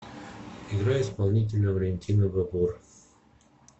играй исполнителя валентина бабор